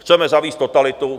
Chceme zavést totalitu.